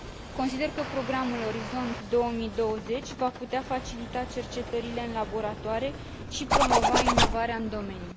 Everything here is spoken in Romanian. Consider că programul Orizont 2020 va putea facilita cercetările în laboratoare și promova inovarea în domeniu.